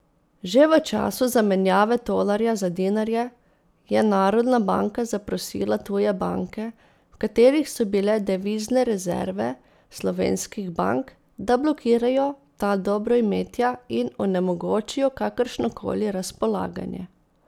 Že v času zamenjave tolarja za dinarje je Narodna banka zaprosila tuje banke, v katerih so bile devizne rezerve slovenskih bank, da blokirajo ta dobroimetja in onemogočijo kakršnokoli razpolaganje.